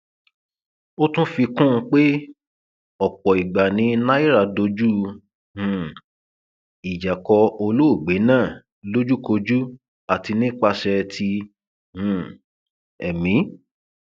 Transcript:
ó tún fi kún un pé ọpọ ìgbà ni náírà dojú um ìjà kọ olóògbé náà lójúkojú àti nípasẹ ti um ẹmí